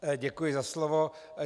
Děkuji za slovo.